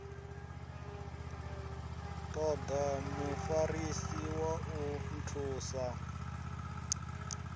toda mufarisi wa u nthusa